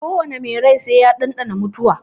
Ko wane mai rai sai ya ɗanɗani mutuwa.